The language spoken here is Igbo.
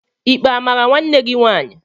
Ikpe amara nwanne gị nwaanyị?